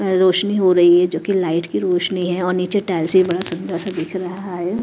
रोशनी हो रही है जो कि लाइट की रोशनी है और नीचे टाइल्स भी बड़ा सुंदर सा दिख रहा है।